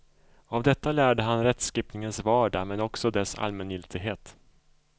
Av detta lärde han rättskipningens vardag men också dess allmängiltighet.